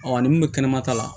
ni mun bɛ kɛnɛmata la